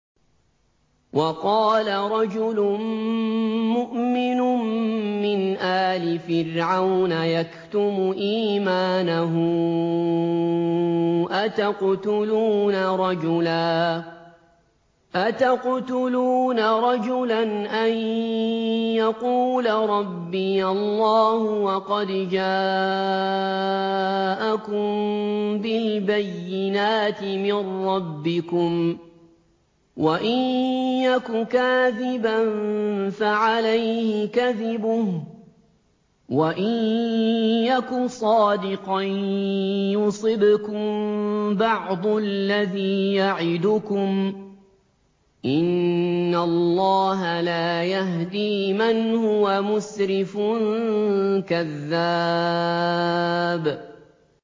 وَقَالَ رَجُلٌ مُّؤْمِنٌ مِّنْ آلِ فِرْعَوْنَ يَكْتُمُ إِيمَانَهُ أَتَقْتُلُونَ رَجُلًا أَن يَقُولَ رَبِّيَ اللَّهُ وَقَدْ جَاءَكُم بِالْبَيِّنَاتِ مِن رَّبِّكُمْ ۖ وَإِن يَكُ كَاذِبًا فَعَلَيْهِ كَذِبُهُ ۖ وَإِن يَكُ صَادِقًا يُصِبْكُم بَعْضُ الَّذِي يَعِدُكُمْ ۖ إِنَّ اللَّهَ لَا يَهْدِي مَنْ هُوَ مُسْرِفٌ كَذَّابٌ